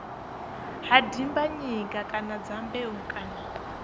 ha dimbanyika kana dyambeu kana